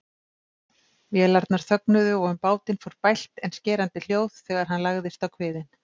Vélarnar þögnuðu og um bátinn fór bælt en skerandi hljóð þegar hann lagðist á kviðinn.